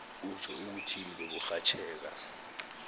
kutjho ukuthi beburhatjheka